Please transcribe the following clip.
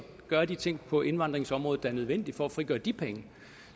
gøre de ting på indvandringsområdet der er nødvendige for at frigøre de penge